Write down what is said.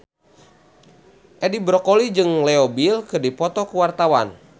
Edi Brokoli jeung Leo Bill keur dipoto ku wartawan